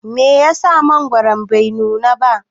Meyasa mangwaron bai nuna ba?